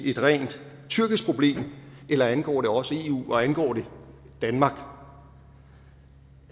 et rent tyrkisk problem eller angår det også eu og angår det danmark der